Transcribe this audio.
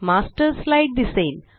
master slide दिसेल